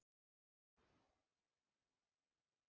Klúður sumarsins?